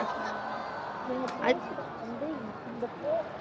ஆஹ் நீங்க பேசுறது வந்து இந்த போ~